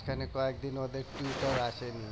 মাঝখানে কয়েকদিন ওদের tutor আসেনি